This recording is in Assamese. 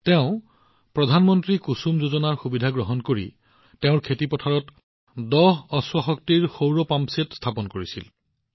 তেওঁ পিএম কুসুম যোজনাৰ সুবিধা লৈছিল আৰু তেওঁৰ খেতিপথাৰত দহ অশ্বশক্তিৰ সৌৰ পাম্পছেট স্থাপন কৰিছিল